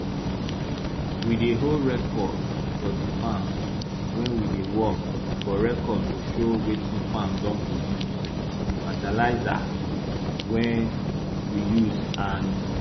we dey hold record for di farm wey we dey work for record go show wetin farm don produce di fertilizah wey we use and